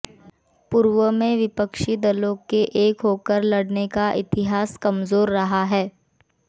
पूर्व में विपक्षी दलों के एक होकर लड़ने का इतिहास कमजोर रहा है